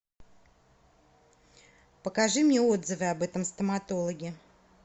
покажи мне отзывы об этом стоматологе